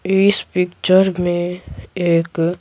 इस पिक्चर में एक--